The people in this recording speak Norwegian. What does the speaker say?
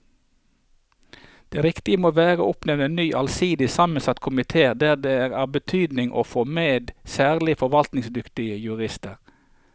Det riktige må være å oppnevne en ny allsidig sammensatt komite der det er av betydning å få med særlig forvaltningskyndige jurister.